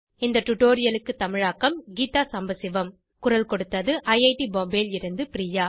இந்த டுடோரியலை தமிழாக்கம் கீதா சாம்பசிவம் குரல் கொடுத்தது ஐஐடி பாம்பேவில் இருந்து பிரியா